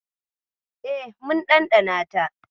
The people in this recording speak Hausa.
E, mun ɗanɗana ta.